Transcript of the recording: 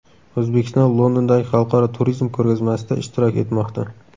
O‘zbekiston Londondagi xalqaro turizm ko‘rgazmasida ishtirok etmoqda.